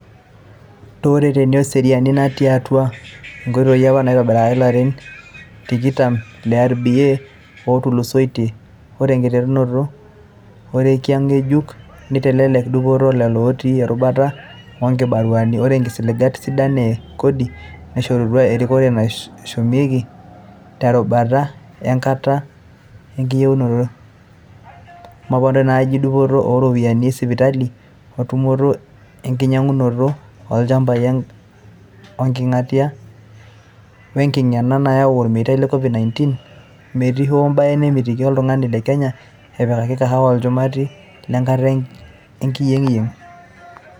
Tooreteni ooserian natii atua ingoitoi apa naitobiraki toolarin tikitam le RBA ootulusoitia, ore enkiteru orekia nkejuk neitelelek dupoto olelo otii erubata onkibaruani, ore ngisiligat sidan e kodi naishorutua erikore naashumiaki terubata enkata engiyengiyeng, omponaroto naajio dupot ooropiyiani esipitali o tumoto enkinyangunoto olchambai onkangitia wenkitengena nayau olmetai le Covid-19 metii hoo baye namitiki oltungani le Kenya epikaki kewana olchumati lenkata enkiyengiyeng.